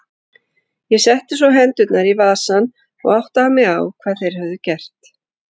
Ég setti svo hendurnar í vasana og áttaði mig á hvað þeir höfðu gert.